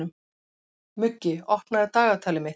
Muggi, opnaðu dagatalið mitt.